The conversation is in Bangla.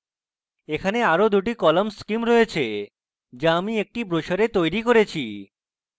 এখানে আরো 2 the colour schemes রয়েছে যা আমি একটি brochure তৈরী করেছি